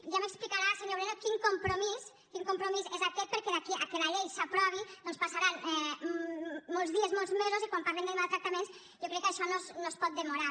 ja m’explicarà senyor moreno quin compromís quin compromís és aquest perquè d’aquí que la llei s’aprovi doncs passaran molts dies molts mesos i quan parlem de maltractaments jo crec que això no es pot demorar